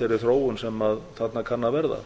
þeirri þróun sem þarna kann að verða